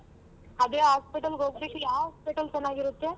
ಅದೇ hospital ಗೆ ಹೋಗ್ಬೇಕು, ಯಾವ್ hospital ಚೆನಾಗಿರುತ್ತೆ?